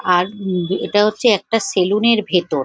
আর উম এটা হচ্ছে একটা সেলুন -এর ভেতর ।